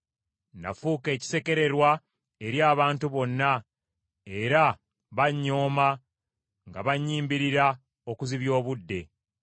Nafuuka ekisekererwa eri abantu bonna, era bannyooma nga bannyimbirira okuzibya obudde.